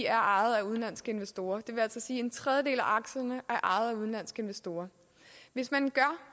er ejet af udenlandske investorer det vil altså sige at en tredjedel af aktierne er ejet af udenlandske investorer hvis man gør